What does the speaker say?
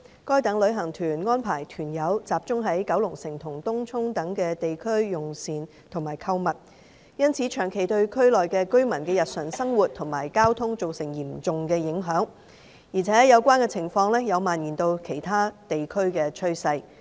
該等旅行團安排團友集中到九龍城及東涌等地區用膳和購物，因此長期對區內居民的日常生活及交通造成嚴重影響，而且有關情況有蔓延至其他地區的趨勢。